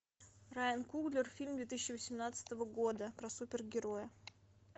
райан куглер фильм две тысячи восемнадцатого года про супергероя